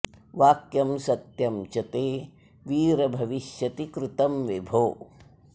वाक्यं सत्यं च ते वीर भविष्यति कृतं विभो